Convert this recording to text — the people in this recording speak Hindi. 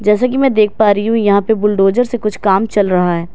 जैसे कि मैं देख पा रही हूं यहां पे बुलडोजर से कुछ काम चल रहा है।